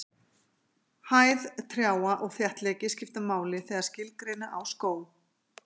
Hæð trjáa og þéttleiki skipta máli þegar skilgreina á skóg.